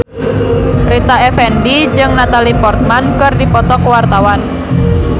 Rita Effendy jeung Natalie Portman keur dipoto ku wartawan